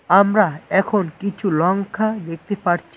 আমরা এখন কিছু লঙ্কা দেখতে পাচ্ছি।